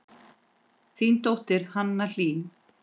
Þín dóttir, Hanna Hlín.